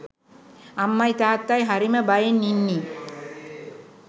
අම්මයි තාත්තයි හරිම බයෙන් ඉන්නේ